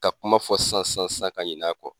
Ka kuma fɔ san san san ka ɲina a kɔ.